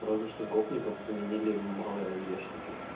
разве что г заменили малой ауешники